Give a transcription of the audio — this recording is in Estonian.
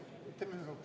Jah, teeme ühekaupa.